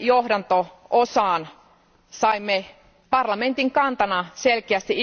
johdanto osaan saimme parlamentin kantana selkeästi